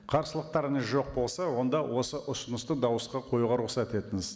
қарсылықтарыңыз жоқ болса онда осы ұсынысты дауысқа қоюға рұқсат етіңіз